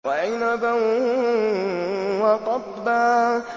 وَعِنَبًا وَقَضْبًا